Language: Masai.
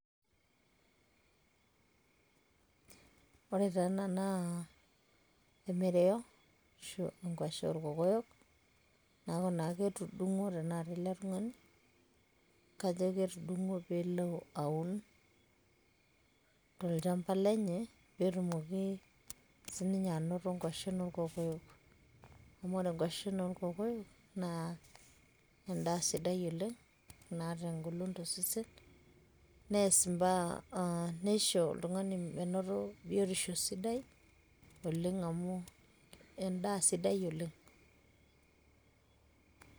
ore taa ena naa emereyo ashu enkwashe oorkokoyok, naa ketudungwo ele tungani, kajo ketudungwo pee elo aun tolchampa lenye, pee etum sii ninye nkwashen oorkokoyo. amu ore nkwashen oorkokoyo. na edaa sidai oleng naata engolon tosesen, neisho oltungani menoto biotisho tosesen neeku edaa sidai oleng.